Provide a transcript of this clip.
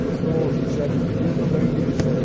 Se eu sou chefe de serviço, eu ganho mil e cem